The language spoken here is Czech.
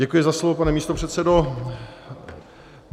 Děkuji za slovo, pane místopředsedo.